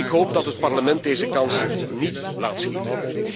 Ik hoop dat het Parlement deze kans niet laat schieten.